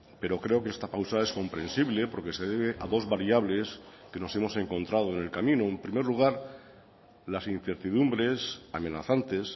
pero creo que esta pausa es comprensible porque se debe a dos variables que nos hemos encontrado en el camino en primer lugar las incertidumbres amenazantes